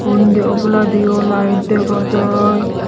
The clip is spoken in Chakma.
undi oboladiyo light dega jaai.